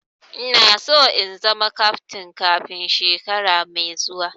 Ina so in zama kaftin kafin shekara mai zuwa